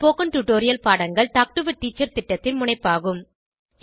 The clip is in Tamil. ஸ்போகன் டுடோரியல் பாடங்கள் டாக் டு எ டீச்சர் திட்டத்தின் முனைப்பாகும்